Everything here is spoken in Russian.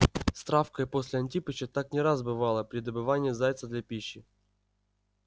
с травкой после антипыча так не раз бывало при добывании зайца для пищи